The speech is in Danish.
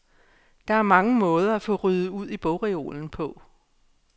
Der er mange måder at få ryddet ud i bogreolen på.